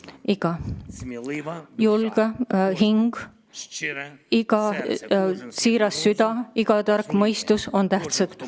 Iga julge hing, iga siiras süda, iga tark mõistus – kõik on tähtsad.